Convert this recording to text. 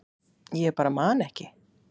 Ég bara man ekki.